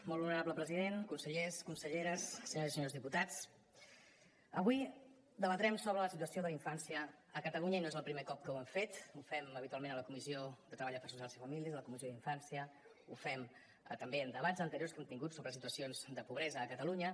molt honorable president consellers conselleres senyores i senyors diputats avui debatrem sobre la situació de la infància a catalunya i no és el primer cop que ho hem fet ho fem habitualment a la comissió de treball afers socials i família a la comissió d’infància ho fem també en debats anteriors que hem tingut sobre situacions de pobresa a catalunya